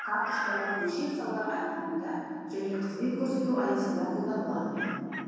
карточкалар бөлшек сауда айналымында және қызмет көрсету аясында қолданылады